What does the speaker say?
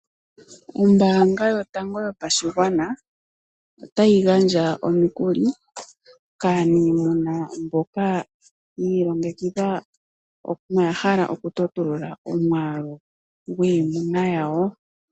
Ombaanga yotango yopashigwana otayi gandja omikuli kaanimuna mboka yi ilongekidha no yahala oku totulula omwaalu gwiimuna yawo.